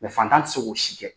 fatan tɛ se k'o si kɛ.